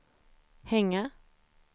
hänga